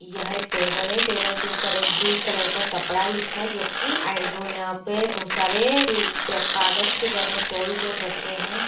यह एक टेबल है टेबल के ऊपर एक ब्लू कलर का कपड़ा बिछा है जो कि आई वो यहाँ पे बहोत सारे कागज के बने टॉयज जोन रखे हैं।